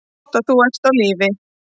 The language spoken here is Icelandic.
Gott að þú ert á lífi.